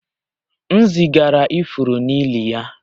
M zigara ifuru n'ili ya